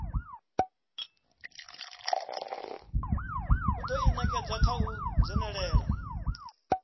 u ḓinekedza kha u dzhenelela